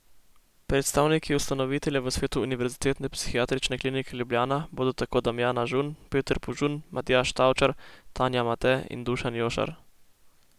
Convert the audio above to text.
Predstavniki ustanovitelja v svetu Univerzitetne psihiatrične klinike Ljubljana bodo tako Damjana Žun, Peter Požun, Matjaž Tavčar, Tanja Mate in Dušan Jošar.